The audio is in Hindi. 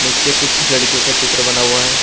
नीचे कुछ लड़कियों का चित्र बना हुआ है।